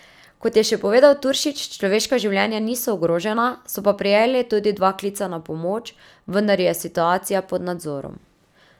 Kot je še povedal Turšič, človeška življenja niso ogrožena, so pa prejeli tudi dva klica na pomoč, vendar je situacija pod nadzorom.